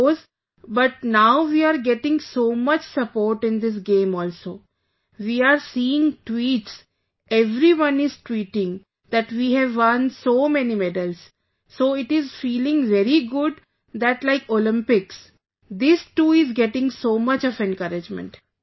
It goes, but now we are getting so much support in this game also... we are seeing tweets...everyone is tweeting that we have won so many medals, so it is feeling very good that like Olympics, this too, is getting so much of encouragement